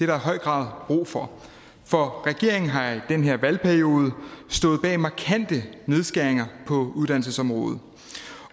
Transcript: der i høj grad brug for for regeringen har i den her valgperiode stået bag markante nedskæringer på uddannelsesområdet